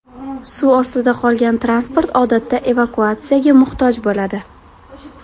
Suv ostida qolgan transport odatda evakuatsiyaga muhtoj bo‘ladi.